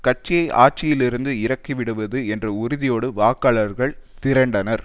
கட்சியை ஆட்சியிலிருந்து இறக்கிவிடுவது என்ற உறுதியோடு வாக்காளர்கள் திரண்டனர்